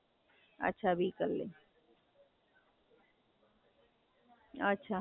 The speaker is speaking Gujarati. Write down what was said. અચ્છા, પાંચ વાગે જતો રે, રિક્ષા માં?